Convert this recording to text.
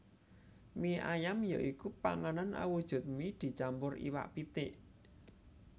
Mie ayam ya iku panganan awujud mie dicampur iwak pitik